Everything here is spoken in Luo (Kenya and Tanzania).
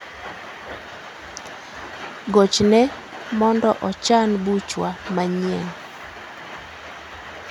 Gochne mondo ochan buchwa manyien